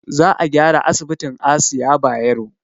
Za a gyara asibitin asiya bayero